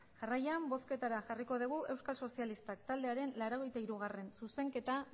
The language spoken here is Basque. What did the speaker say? jarraian bozketara jarriko dugu euskal sozialistak taldearen laurogeita hirugarrena zuzenketa